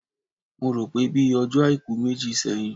Mo rò pé bíi ọjọ́ Àìkú méjì sẹ́yìn